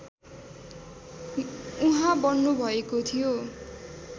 उहाँ बन्नुभएको थियो